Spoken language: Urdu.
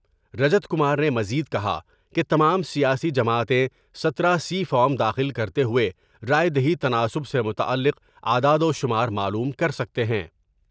رجت کمار نے مزید کہا کہ تمام سیاسی جماعتیں ستارہ سی فارم داخل کر تے ہوۓ راۓ دہی تناسب سے متعلق اعداد وشمار معلوم کر سکتے ہیں ۔